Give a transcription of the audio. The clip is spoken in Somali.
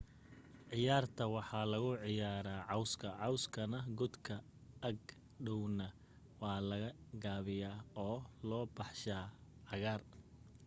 ciyaarta waxaa lagu ciyaaraya cawska cawskana godka ag dhowrna waa la gaabiyaa oo loo baxshaa cagaaar